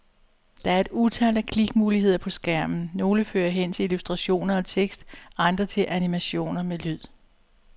Der er et utal af klikmuligheder på skærmen, nogle fører hen til illustrationer og tekst, andre til animationer med lyde.